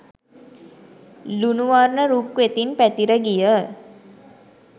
ලුණු වර්ණ රුක් වෙතින් පැතිර ගිය